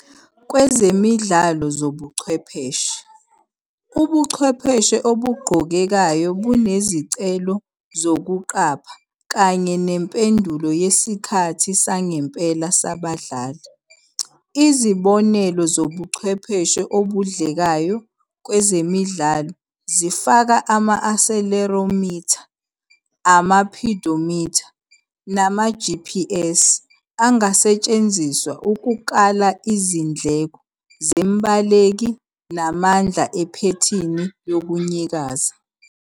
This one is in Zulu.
Kwezemidlalo ezobuchwepheshe, ubuchwepheshe obugqokekayo bunezicelo zokuqapha kanye nempendulo yesikhathi sangempela sabadlali. Izibonelo zobuchwepheshe obudlekayo kwezemidlalo zifaka ama-accelerometer, ama-pedometer nama-GPS angasetshenziswa ukukala izindleko zembaleki namandla iphethini yokunyakaza.